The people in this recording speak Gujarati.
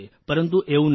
પરંતુ એવું નથી